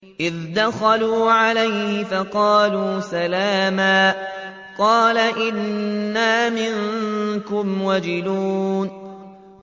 إِذْ دَخَلُوا عَلَيْهِ فَقَالُوا سَلَامًا قَالَ إِنَّا مِنكُمْ وَجِلُونَ